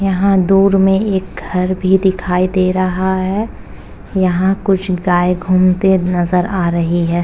यहाँ दूर में एक घर भी दिखाई दे रहा है। यहाँ कुछ गाय घूमते नजर आ रही है।